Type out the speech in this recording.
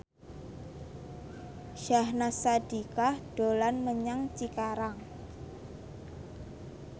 Syahnaz Sadiqah dolan menyang Cikarang